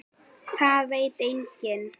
Það veit enginn